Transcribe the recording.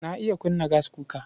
Na iya kunna gaskuka.